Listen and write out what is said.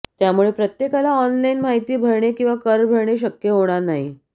त्यामुळे प्रत्येकाला ऑनलाईन माहिती भरणे किंवा कर भरणे शक्य होणार नाही